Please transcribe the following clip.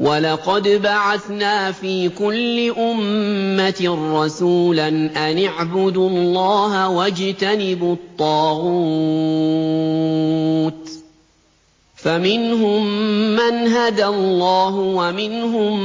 وَلَقَدْ بَعَثْنَا فِي كُلِّ أُمَّةٍ رَّسُولًا أَنِ اعْبُدُوا اللَّهَ وَاجْتَنِبُوا الطَّاغُوتَ ۖ فَمِنْهُم مَّنْ هَدَى اللَّهُ وَمِنْهُم